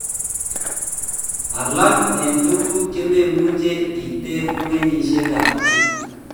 Alak en tuguk chememuche iter ko kenyisiek ab chi